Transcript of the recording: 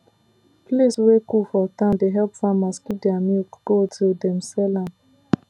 place wey cool for town dey help farmers keep their milk cold till dem sell am